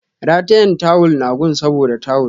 Ratayen tawull na gun saboda tawul